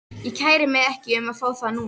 Ég kæri mig ekki um að fá þá núna.